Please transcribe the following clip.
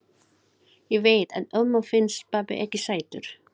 Ég veit að ömmu finnst pabbi ekki sætur.